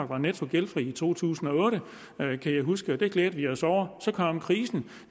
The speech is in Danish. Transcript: var netto gældfri i to tusind og otte kan jeg huske og det glædede vi os over så kom krisen